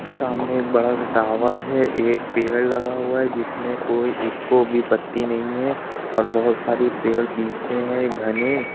सामने एक बड़ा सा टावर है। एक पेड़ लगा हुआ है जिसमे कोई इको भी पत्ती नहीं है और बोहोत सारे पेड़ पीछे हैं घने --